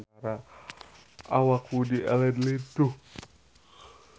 Awak Woody Allen lintuh